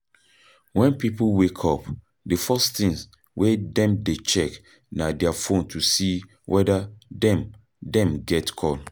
When pipo wake up, di first thing wey dem dey check na their phone to see weda dem dem get call